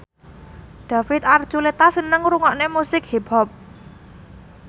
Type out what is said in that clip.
David Archuletta seneng ngrungokne musik hip hop